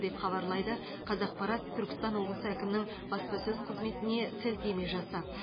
деп хабарлайды қазақпарат түркістан облысы әкімінің баспасөз қызметіне сілтеме жасап